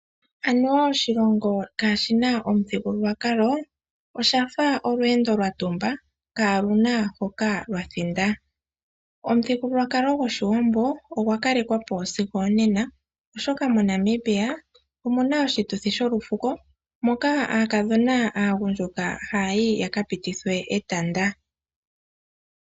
Anuwa oshilongo kaashi na omuthigululwakalo, oshafa olweendo lwa tumba, kalu na mpoka lwa thinda. Omuthigululwakalo gwOshiwambo, ogwa kalekwa po sigo onena, oshoka moNamibia, omu na oshituthi sholufuko, moka aakadhona aagundjuka haayi yaka pitithwe etanda.